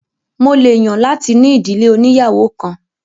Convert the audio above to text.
Mo lè yàn láti ní ìdílé òníyàwó kan